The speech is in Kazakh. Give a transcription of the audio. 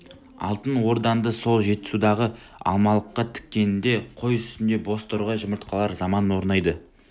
алтын ордаңды сол жетісудағы алмалыққа тіккеніңде қой үстінде боз торғай жұмыртқалар заман орнайды